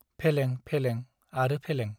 फेलें फेलें आरो फेलें ।